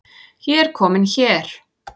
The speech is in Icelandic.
Ég er komin hér